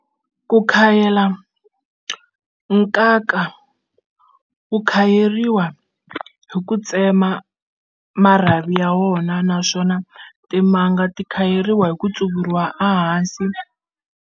Ku khayela nkaka wu khayeriwa hi ku tsema marhavi ya wona naswona timanga ti khayeriwa hi ku tsuvuriwa a hansi.